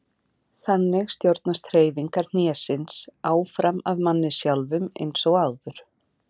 Þannig stjórnast hreyfingar hnésins áfram af manni sjálfum eins og áður.